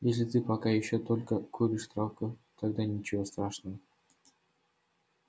если ты пока ещё только куришь травку тогда ничего страшного